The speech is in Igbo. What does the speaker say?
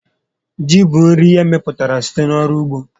Ji bụ nri emepụtara site n'ọrụ ugbo